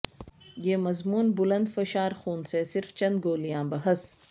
یہ مضمون بلند فشار خون سے صرف چند گولیاں بحث